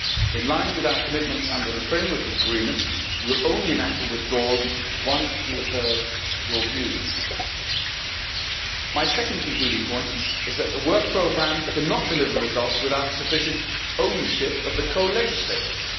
In line with our commitment under the Framework Agreement we will only enact the withdrawals once we have heard your views. My second concluding point is that the Work Programme cannot deliver results without sufficient ownership of the co legislators.